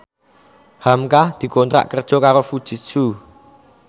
hamka dikontrak kerja karo Fujitsu